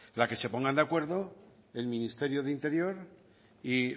la que se pongan de acuerdo el ministerio de interior y